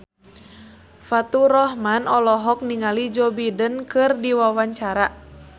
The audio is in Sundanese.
Faturrahman olohok ningali Joe Biden keur diwawancara